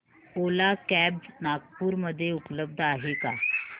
ओला cabs Nagpur मध्ये उपलब्ध आहे का